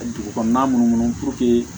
Dugu kɔnɔna minnu